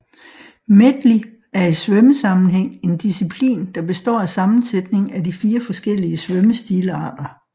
Medley er i svømmesammenhæng en disciplin der består af sammensætning af de fire forskellige svømmestilarter